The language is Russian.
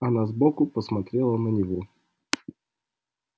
она сбоку посмотрела на него